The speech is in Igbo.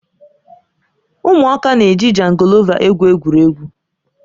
Ụmụaka na-eji jangọlova egwu egwuregwu